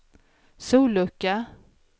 sollucka